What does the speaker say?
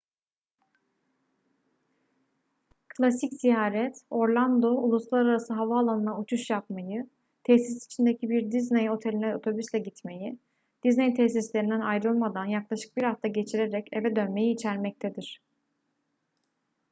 klasik ziyaret orlando uluslararası havaalanına uçuş yapmayı tesis içindeki bir disney oteline otobüsle gitmeyi disney tesislerinden ayrılmadan yaklaşık bir hafta geçirerek eve dönmeyi içermektedir